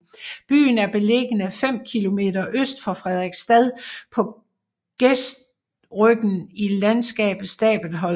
Byen er beliggende fem kilometer øst for Frederiksstad på gestryggen i landskabet Stabelholm